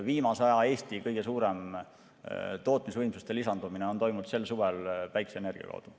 Viimase aja Eesti kõige suurem tootmisvõimsuste lisandumine on toimunud sel suvel päikeseenergia kaudu.